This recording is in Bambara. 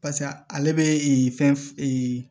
Pase ale bɛ fɛn